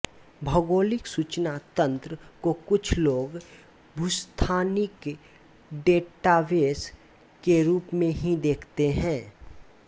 भौगोलिक सूचना तंत्र को कुछ लोग भूस्थानिक डेटाबेस के रूप में ही देखते हैं